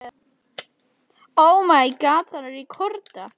En það er búið að leggja á borð inni í móttökusal.